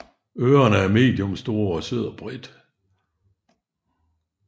Ørerne er medium store og sidder bredt